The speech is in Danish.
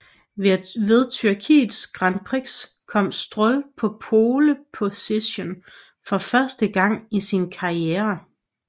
Ved Tyrkiets Grand Prix kom Stroll på pole position for første gang i sin karriere